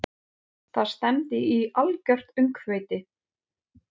Það stefndi í algjört öngþveiti.